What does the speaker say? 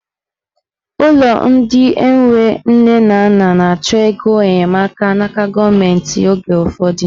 Ụlọ ndị enwe nne na nna na-achọ ego enyemaka n'aka gọọmenti oge ụfọdụ.